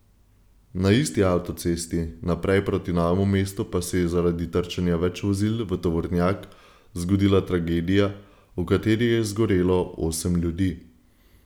Na isti avtocesti naprej proti Novemu mestu pa se je zaradi trčenja več vozil v tovornjak zgodila tragedija, v kateri je zgorelo osem ljudi.